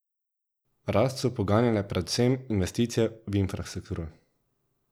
Rast so poganjale predvsem investicije v infrastrukturo.